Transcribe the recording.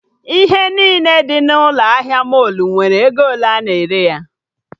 Ihe niile dị n'ụlọ ahịa mọlụ nwere ego ole a na-ere ya